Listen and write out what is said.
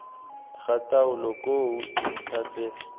ga taolo koo dintlha tse